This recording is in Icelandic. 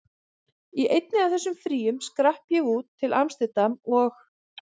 Í einu af þessum fríum skrapp ég út, til amsterdam og